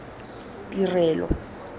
tirelo